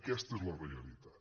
aquesta és la realitat